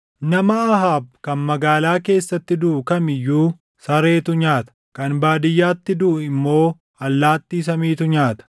“Nama Ahaab kan magaalaa keessatti duʼu kam iyyuu sareetu nyaata; kan baadiyyaatti duʼu immoo allaattii samiitu nyaata.”